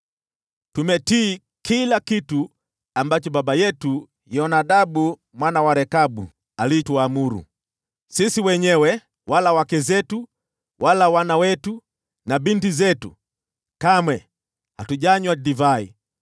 Tumetii kila kitu ambacho baba yetu Yonadabu mwana wa Rekabu alituamuru. Sisi wenyewe wala wake zetu wala wana wetu na binti zetu kamwe hatujanywa divai